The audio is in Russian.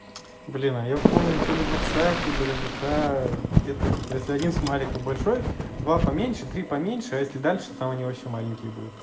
блин а я помню то ли в ватсапе то ли в вк где то типа если один смайлик большой два поменьше три поменьше если дальше там у него ещё маленький